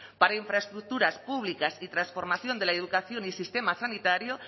para infraestructuras públicas y transformación de la educación y sistema sanitario